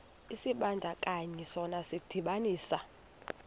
isibandakanyi sona sidibanisa